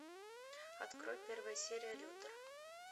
открой первая серия лютер